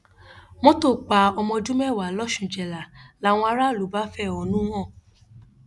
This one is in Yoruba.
mọtò pa ọmọ ọdún mẹwàá lọsúnjẹlá làwọn aráàlú bá fẹhónú hàn